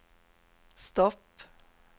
stopp